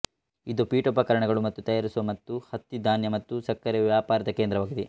ಇದು ಪೀಠೋಪಕರಣಗಳನ್ನು ತಯಾರಿಸುವ ಮತ್ತು ಹತ್ತಿ ಧಾನ್ಯ ಮತ್ತು ಸಕ್ಕರೆಯ ವ್ಯಾಪಾರದ ಕೇಂದ್ರವಾಗಿದೆ